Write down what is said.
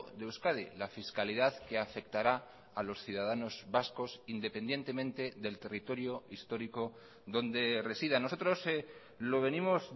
de euskadi la fiscalidad que afectará a los ciudadanos vascos independientemente del territorio histórico donde resida nosotros lo venimos